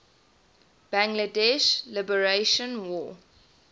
bangladesh liberation war